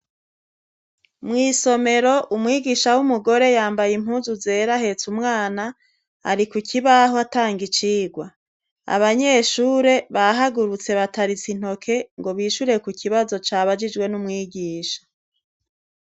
Mwisomero umwigisha w'umugore yambaye impunzu zera ahetse umwana ari kukibaho atanga icigwa abanyeshure bahagurutse bataritse intoke ngo bishure ku kibazo cyabajijwe n'umwigisha